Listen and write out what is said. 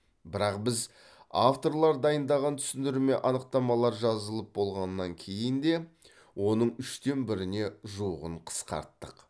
бірақ біз авторлар дайындаған түсіндірме анықтамалар жазылып болғаннан кейін де оның үштен біріне жуығын қысқарттық